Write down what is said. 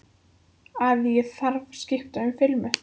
Að ég hafi skipt um filmu.